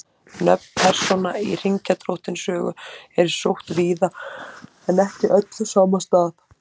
Nöfn persóna í Hringadróttinssögu eru sótt víða en ekki öll á sama stað.